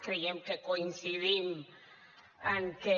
creiem que coincidim en què